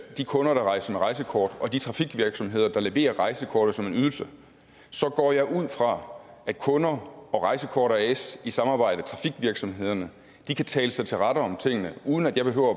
de kunder der rejser med rejsekort og de trafikvirksomheder der leverer rejsekortet som en ydelse så går jeg ud fra at kunder og rejsekort as i samarbejde med trafikvirksomhederne kan tale sig til rette om tingene uden at jeg behøver